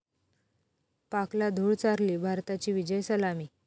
पाकला धूळ चारली, भारताची विजयी सलामी